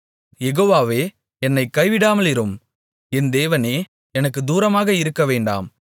யெகோவாவே என்னைக் கைவிடாமலிரும் என் தேவனே எனக்குத் தூரமாக இருக்கவேண்டாம்